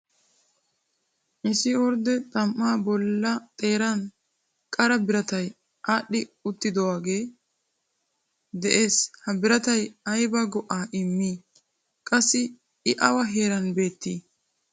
Issi ordde xam"a bolla xeeran qara biratay aadhdhi uttidooge de'ees. Ha biratay ayba go"a immi? Qassi I awa heeran beetti ?